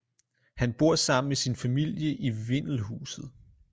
Han bor sammen med sin familie i vindelhuset